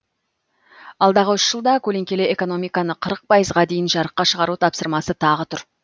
алдағы үш жылда көлеңкелі экономиканы қырық пайызға дейін жарыққа шығару тапсырмасы тағы тұр